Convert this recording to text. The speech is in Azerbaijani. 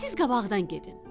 Siz qabaqdan gedin.